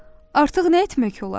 Artıq nə etmək olar?